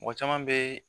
Mɔgɔ caman bɛ